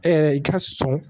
E yɛrɛ i ka sɔn